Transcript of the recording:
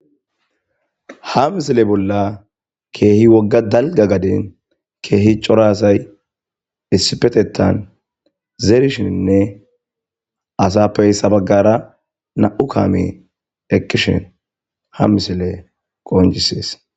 ha misile bolla keehi wogga dalga gaden keehi cora asay issipetetan zerishinne asappey sabaggara na'u kaamey eqishin ha misiley qoncisees